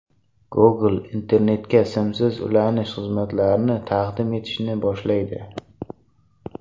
Google internetga simsiz ulanish xizmatlarini taqdim etishni boshlaydi.